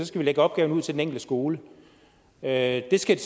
skal lægge opgaverne ud til den enkelte skole at de skal